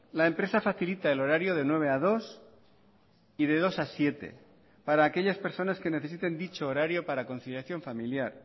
la empresa facilita el horario de nueve cero a catorce cero y de catorce cero a diecinueve cero para aquellas personas que necesiten dicho horario para conciliación familiar